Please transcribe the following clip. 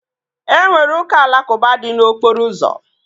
Enwere ụka alakụba dị n'okporo ụzọ